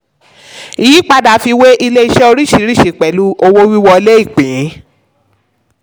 ìyípadà fi wé ilé-iṣẹ́ oríṣìíríṣìí pẹ̀lú owó-wíwọlé ìpín.